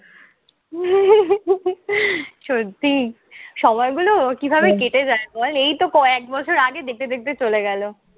সত্যি সময়গুলো কিভাবে কেটে যায় বল। এইতো কয়েক বছর আগে, দেখতে দেখতে চলে গেলো।